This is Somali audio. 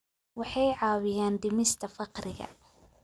Waxay caawiyaan dhimista faqriga.